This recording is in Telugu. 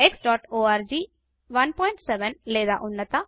xఆర్గ్ 17 లేదా ఉన్నత